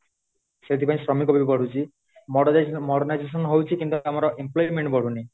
ସେଥିପାଇଁ ଶ୍ରମିକ ବି ବଢୁଛି modern modernization ହଉଚି କିନ୍ତୁ ଆମର employment ବଢୁନି